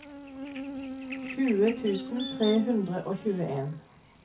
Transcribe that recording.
tjue tusen tre hundre og tjueen